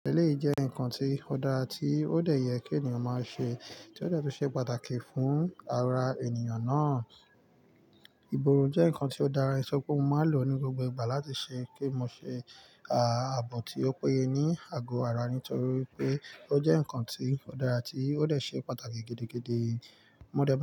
Èléyi jẹ́ ǹkan tí ó dára tí ó dé yẹ kí ènìyàn máa ṣe, tí ó tún ṣe pàtàkì fún ara ènìyàn náà. Ìbòrun jẹ́ ǹkan tí ó dára, ìsọ pé mo máa ń lò ní gbogbo ìgbà láti ṣe kí mo ṣe ààbò tí ó péye ní àgọ ara nítorí wípé ó jẹ́ ǹkan tí ó dára tí ó dé ṣe pàtàkì gidi gidi. Mo dẹ́ mọ́